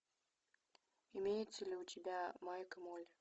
имеется ли у тебя майк и молли